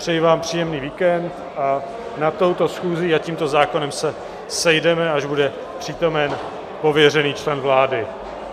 Přeji vám příjemný víkend a nad touto schůzí a tímto zákonem se sejdeme, až bude přítomen pověřený člen vlády.